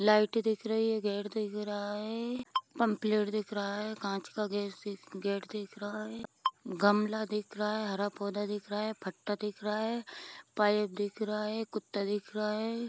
Light दिख रही है गेट तो दिख रहा है पंपलेट दिख रहा है कांच का घेत गेट दिख रहा है गमला दिख रहा है हरा पौधा दिख रहा है पत्ता दिख रहा है पाइप दिख रहा है कुत्ता दिख रहा है।